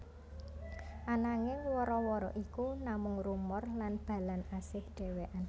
Ananging wara wara iku namung rumor lan Balan asih dhewekén